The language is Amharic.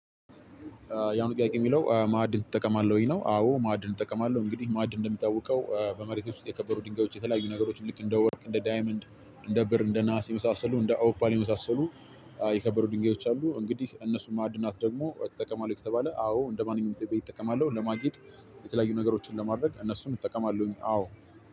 ያው ጥያቄው የሚለው ማዕድን ትጠቀማለህ ወይ? አዎ ማዕድን እጠቀማለሁ እንግዲህ ማዕድን እንደሚታወቀው በመሬት ውስጥ የከበሩ ድንጋዮች የተለያዩ ነገሮችን ልክ እንደ ወርቅ እንደ ዳይመንድ እንደ ብር እንደ ናሃስ የመሳሰሉ እንደ ኦፓን የመሳሰሉ የከበሩ ድንጋዮች አሉ፤ እንግዲህ እነሱ ማዕድናት ደግሞ ትጠቀማለህ ከተባለ አዎ እንደማንኛውም ኢትዮጵያዊ እጠቀማለሁ ለማጌጥ፣ የተለያዩ ነገሮችን ለማድረግ እነሱን እጠቀማለሁኝ አዎ፤